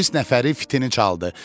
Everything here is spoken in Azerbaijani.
Polis nəfəri fitini çaldı.